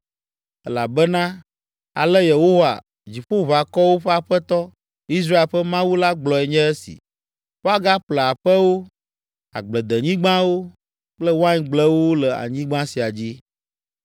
Elabena ale Yehowa, Dziƒoʋakɔwo ƒe Aƒetɔ, Israel ƒe Mawu la gblɔe nye esi: “Woagaƒle aƒewo, agbledenyigbawo kple waingblewo le anyigba sia dzi.” ’